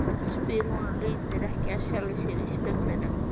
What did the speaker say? spyr hún og lítur ekki af sjálfri sér í speglinum.